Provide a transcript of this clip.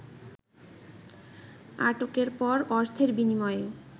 আটকের পর অর্থের বিনিময়ে